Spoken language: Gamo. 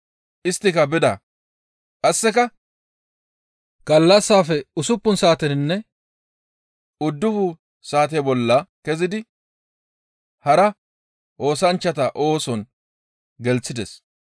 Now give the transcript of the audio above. Isttika bida. Qasseka gallassaafe usuppun saateninne uddufun saate bolla kezidi hara oosanchchata ooson gelththides.